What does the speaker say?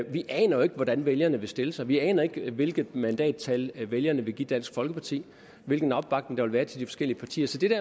vi aner jo ikke hvordan vælgerne vil stille sig vi aner ikke hvilket mandattal vælgerne vil give dansk folkeparti hvilken opbakning der vil være til de forskellige partier så det